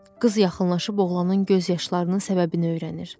Qız yaxınlaşıb oğlanın göz yaşlarının səbəbini öyrənir.